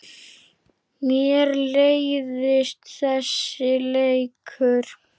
Mér leiðist þessi leikur.